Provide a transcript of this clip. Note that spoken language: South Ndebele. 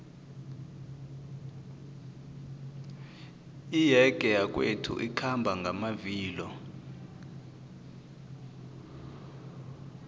iyege yakwethu ikhamba ngamavilo